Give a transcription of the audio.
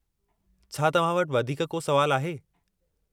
छा तव्हां वटि वधीक को सुवालु आहे?